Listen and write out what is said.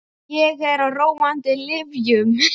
Ég er á róandi lyfjum.